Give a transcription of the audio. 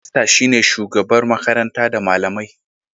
Hedmasta shine shugabar makaranta da malamai.